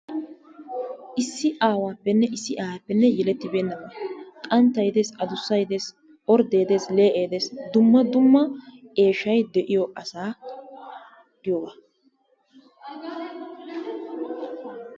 Issi aawaappenne Issi aayeeppe yelettibernna qanttay de'ees addussa de'es oordde dees lee'ee dees. Dumma dumma eeshshay de'iyo asaa giyoogaa.